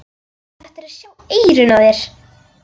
Þú ættir að sjá eyrun á þér!